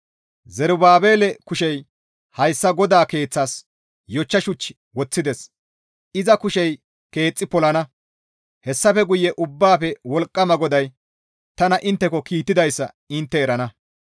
«Zerubaabele kushey hayssa GODAA keeththas yochcha shuch woththides; iza kushey keexxi polana; hessafe guye Ubbaafe Wolqqama GODAY tana intteko kiittidayssa intte erana.